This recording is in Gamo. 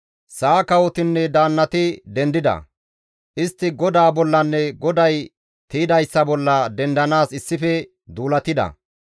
Sa7a kawotinne daannati dendida; istti GODAA bollanne GODAY tiydayssa bolla dendanaas issife duulatida.